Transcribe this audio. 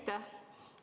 Aitäh!